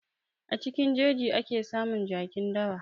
A cikin jeji ake samun jakin dawa.